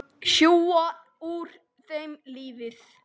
Sjúga úr þeim lífið.